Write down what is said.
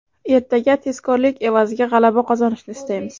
Ertaga tezkorlik evaziga g‘alaba qozonishni istaymiz.